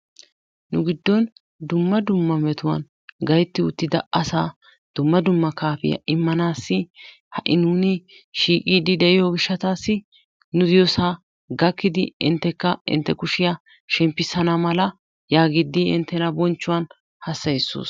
Nu giddon dumma dumma metuwan gaytti uttida asaa dumma dumma kaafiyaa immanassi ha'i nuun shiiqidi de'iyo gishshatassi nu diyosaa gakkidi inttekka intte kushiyaa shemppissana mala yaagidi inttena bonchchuwan hassayssoos.